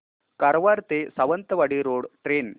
कारवार ते Sawantwadi road train